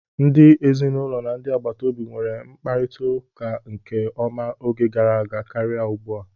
Ndị ezinụlọ na ndị agbataobi nweere mkparita nke ọma oge gara karịa ugbu a.